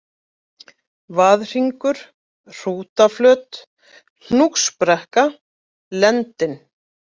Vaðhringur, Hrútaflöt, Hnúksbrekka, Lendin